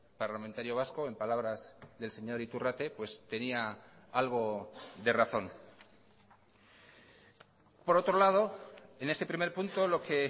parlamentario vasco en palabras del señor iturrate tenía algo de razón por otro lado en este primer punto lo que